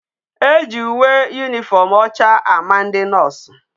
Eji uwe uniform ocha a ma ndi nurse